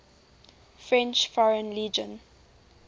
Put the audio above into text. french foreign legion